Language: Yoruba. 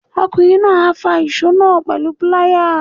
Ọkùnrin náà á fa ìsó náà pẹ̀lú píláyà.